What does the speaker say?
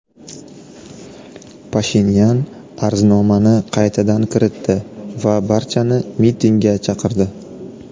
Pashinyan arznomani qaytadan kiritdi va barchani mitingga chaqirdi.